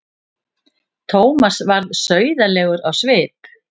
Thomas varð sauðalegur á svip.